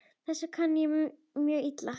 Þessu kann ég mjög illa.